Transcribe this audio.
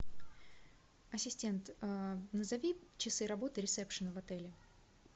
ассистент назови часы работы ресепшена в отеле